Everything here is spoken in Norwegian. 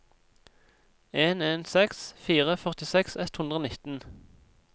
en en seks fire førtiseks ett hundre og nitten